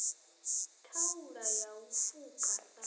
thaula ya u fuka sa